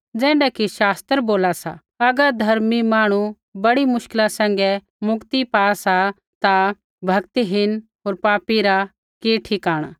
ज़ैण्ढै कि शास्त्र बोला सा अगर धर्मी मांहणु बड़ी मुश्किला सैंघै मुक्ति पा सा ता भक्तिहीन होर पापी रा कि ठिकाणा